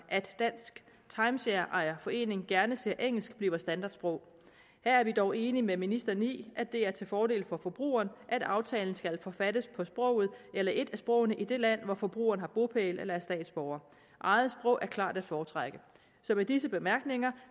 at dansk timeshareejer forening gerne ser at engelsk bliver standardsprog her er vi dog enige med ministeren i at det er til fordel for forbrugeren at aftalen skal forfattes på sproget eller et af sprogene i det land hvor forbrugeren har bopæl eller er statsborger eget sprog er klart at foretrække så med disse bemærkninger